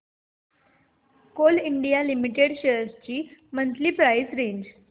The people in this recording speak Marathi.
कोल इंडिया लिमिटेड शेअर्स ची मंथली प्राइस रेंज